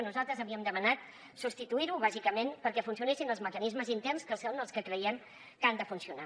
nosaltres havíem demanat substituir ho bàsicament perquè funcionessin els mecanismes interns que són els que creiem que han de funcionar